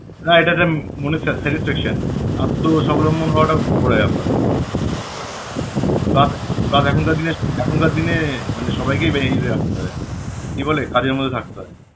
right একটা মনের satisfaction আত্মস্বাবলম্বন হওয়াটা বড় ব্যাপার plus plus এখনকার দিন~ এখনকার দিনে মানে সবাইকেই beneficiary রাখতে হয় কি বলে কাজের মধ্যে থাকতে হয়